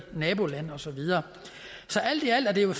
nabolande og så videre alt i alt er det jo